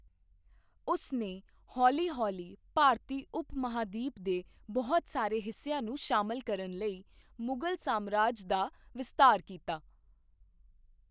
ਉਸ ਨੇ ਹੌਲ਼ੀ ਹੌਲ਼ੀ ਭਾਰਤੀ ਉਪ ਮਹਾਂਦੀਪ ਦੇ ਬਹੁਤ ਸਾਰੇ ਹਿੱਸਿਆਂ ਨੂੰ ਸ਼ਾਮਲ ਕਰਨ ਲਈ ਮੁਗਲ ਸਾਮਰਾਜ ਦਾ ਵਿਸਤਾਰ ਕੀਤਾ।